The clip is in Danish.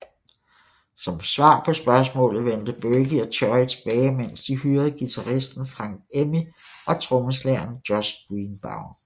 Som svar på spørgsmålet vendte Burkey og Choy tilbage mens de hyrede guiraisten Frank Emmi og trommeslageren Josh Greenbaum